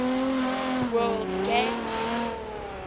word games